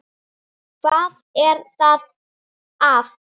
Hvað var þá að?